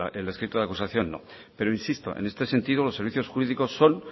el escrito de la acusación no pero insisto en este sentido los servicios jurídicos son